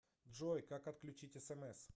джой как отключить смс